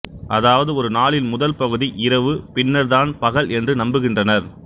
அதாவது ஒரு நாளின் முதல் பகுதி இரவு பின்னர் தான் பகல் என்று நம்புகின்றனர்